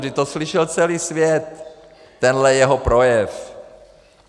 Vždyť to slyšel celý svět, tenhle jeho projev!